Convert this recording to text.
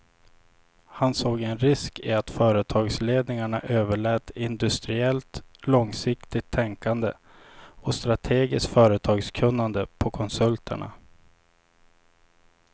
Han såg en risk i att företagsledningarna överlät industriellt långsiktigt tänkande och strategiskt företagskunnande på konsulterna.